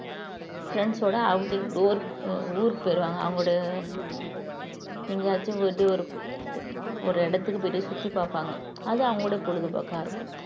friends ஓட outing அஹ் ஊருக்கு போயிடுவாங்க அவங்களுடைய எங்கேயாச்சும் போயிட்டு ஒரு ஒரு இடத்துக்கு போயிட்டு சுத்தி பார்ப்பாங்க அது அவங்களுடைய பொழுதுபோக்கா இருக்கும்